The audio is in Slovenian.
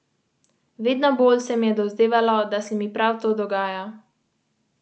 V Škofji Loki deluje zavetišče za mačke Mačji dol, kjer nove domove išče več deset mačk.